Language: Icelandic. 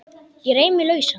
Ég reif mig lausan.